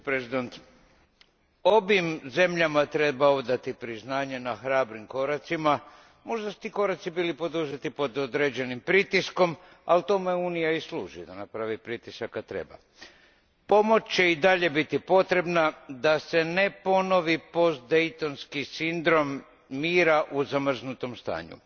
Hvala, gospođo predsjednice. Ovim zemljama treba odati priznanje na hrabrim koracima. Možda su ti koraci bili poduzeti pod određenim pritiskom, ali tome Unija i služi, da napravi pritisak kad treba. Pomoć će i dalje biti potrebna da se ne ponovi postdejtonski sindrom mira u zamrznutom stanju.